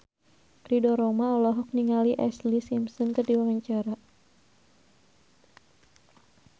Ridho Roma olohok ningali Ashlee Simpson keur diwawancara